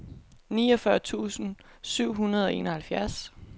niogfyrre tusind syv hundrede og enoghalvfjerds